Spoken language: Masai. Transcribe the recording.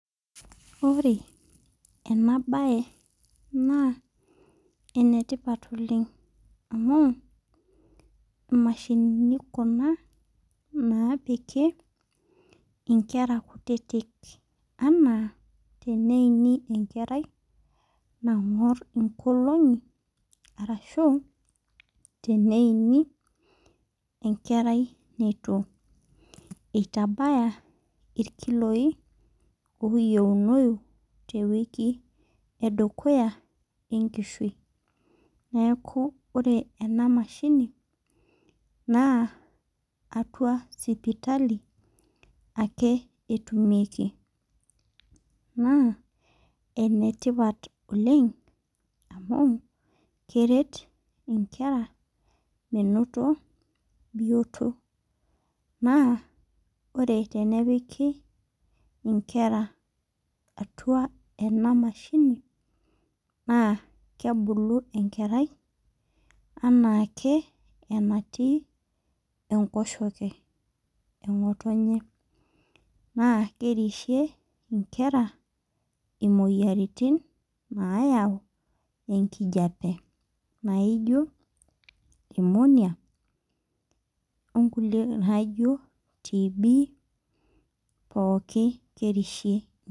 Ore ena baye naa enetipat oleng amu imashinini kuna naapiki inkera kutitik anaa teneini enkerai nang'orr inkolong'i arashu teneini enkerai neitu eitabaya irkiloi oyieunoi tewiki edukuya enkishui neeku ore ena mashini naa atua sipitali ake etumieki naa enetipat oleng amu keret inkera menoto bioto naa ore tenepiki inkera atua ena mashini naa kebulu enkerai enaa ake enatii enkoshoke eng'otonye naa kerishiie inkera imoyiaritin nayau enkijiape naijio pneumonia onkulie naijio TB pooki kerishie.